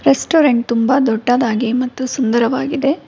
Restaurant ತುಂಬ ದೊಡ್ಡದಾಗಿ ಮತ್ತು ಸುಂದರವಾಗಿದೆ.